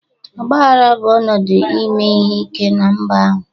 Ọgba aghara bụ ọnọdụ ime ihe ike na mba ahụ